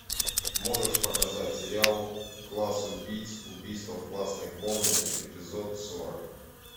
можешь показать сериал класс убийц убийство в классной комнате эпизод сорок